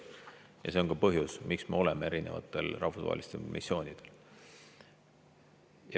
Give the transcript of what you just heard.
Ja see on ka põhjus, miks me osaleme erinevatel rahvusvahelistel missioonidel.